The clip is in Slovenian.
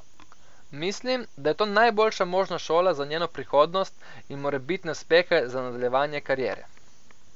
Mislim, da je to najboljša možna šola za njeno prihodnost in morebitne uspehe za nadaljevanje kariere.